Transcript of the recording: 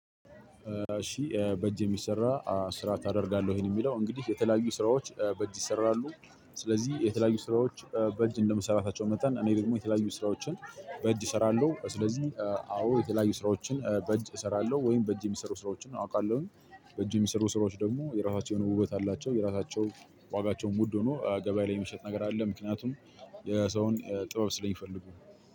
እሺ በእጅ የሚሰራ ስራ ታደርጋለህ ወይ ነው የሚለው። እንግዲህ የተለያዩ ስራዎች በእጅ ይሰራሉ። ስለዚህ የተለያዩ ስራዎች በእጅ እንደምሰራታቸው መጠን እኔ ደግሞ የተለያዩ ስራዎችን በእጅ እሰራለሁ። ስለዚህ አዎ የተለያዩ ስራዎችን በእጅ እሰራለሁ ወይም በእጅ የሚሰሩ ስራዎችን አውቃለሁኝ። በእጅ የሚሰሩ ስራዎች ደግሞ የራሳቸው የሆነ ውበት አለቸው የራሳቸው ዋጋቸውም ውድ ነው። ገበያ ላይም የሚሸጥ ነገር አለ። ምክንያቱም የሰውን ጥበብ ስለምፈልጉ።